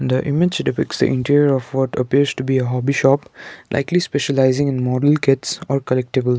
the image depicts a interior of what appears to be a hobby shop likely specialising in model kits or collectables.